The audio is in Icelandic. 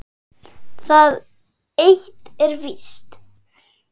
Það eitt er víst.